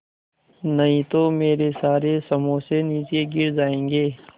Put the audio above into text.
नहीं तो मेरे सारे समोसे नीचे गिर जायेंगे